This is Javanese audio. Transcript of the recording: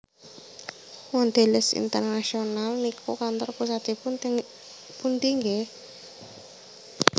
Mondelez International niku kantor pusatipun teng pundi nggeh?